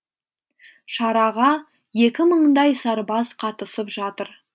шараға екі мыңдай сарбаз қатысып жатыр